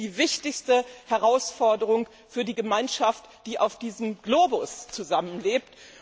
Es geht um die wichtigste Herausforderung für die Gemeinschaft, die auf diesem Globus zusammenlebt.